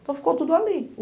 Então, ficou tudo ali.